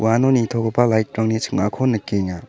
uano nitogipa light-rangni ching·ako nikenga.